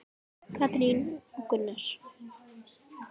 Katrín og Gunnar.